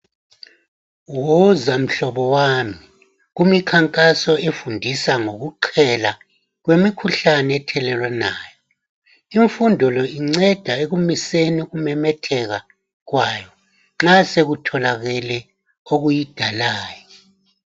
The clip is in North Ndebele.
Woza mhlobo wami kumikhankaso efundisa ngokuqhela kwemikhuhlane ethelelwanayo. Imfundo le inceda ekumiseni ukumemetheka kwayo nxa sekutholakele okuyidalayo.